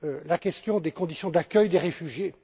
la question des conditions d'accueil des réfugiés